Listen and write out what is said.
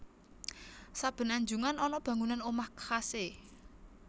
Saben anjungan ana bangunan omah khase